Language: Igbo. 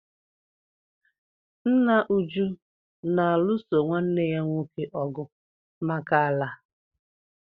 Nna Uju na-alụso nwanne ya nwoke ọgụ maka ala.